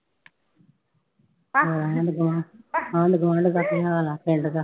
ਆਂਢ ਗੁਆਂ ਆਂਢ ਗੁਆਂਢ ਦਾ ਕੀ ਹਾਲ ਆ ਪਿੰਡ ਦਾ।